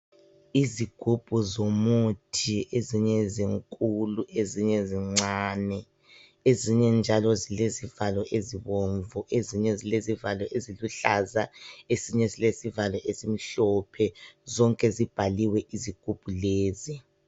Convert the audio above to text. Izigubhu zomuthi ezinye zinkulu, ezinye zincane, ezinye zilezivalo ezibomvu, ezinye zilezivalo eziluhlaza. Ezinye zilezivalo ezimhlophe. Zonke zibhaliwe izigubhu lezi.